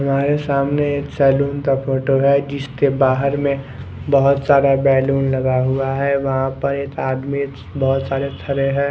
हमारे सामने एक सैलून का फोटो है जिसके बहार में बहोत सारे बैलून लगा हुआ है वहा पर एक आदमी बहोत सारे खड़े है।